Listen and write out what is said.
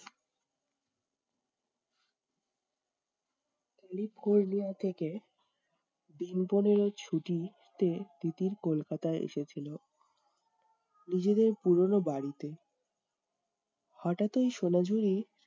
থেকে দিন পনেরো ছুটি তে তিতির কলকাতা এসেছিলো, নিজেদের পুরনো বাড়িতে। হঠাৎ এই সোনা ঝুড়ি